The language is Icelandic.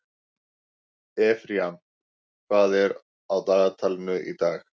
Efraím, hvað er á dagatalinu í dag?